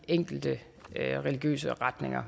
enkelte religiøse retninger